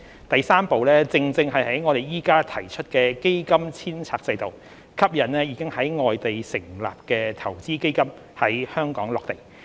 第三步正正是我們現在提出的基金遷冊制度，吸引已在外地成立的投資基金在香港落地。